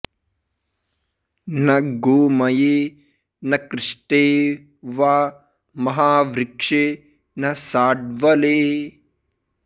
न गोमये न कृष्टे वा महावृक्षे न शाड्वले